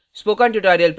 spoken tutorial project team